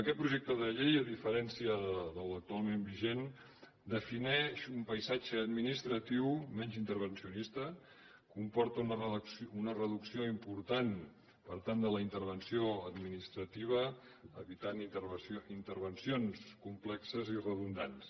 aquest projecte de llei a diferència de l’actualment vigent defineix un paisatge administratiu menys intervencionista comporta una reducció important per tant de la intervenció administrativa i evita intervencions complexes i redundants